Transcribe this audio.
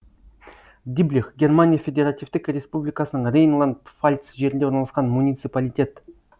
диблих германия федеративтік республикасының рейнланд пфальц жерінде орналасқан муниципалитет